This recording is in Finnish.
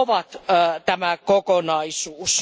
siitä muodostuu tämä kokonaisuus.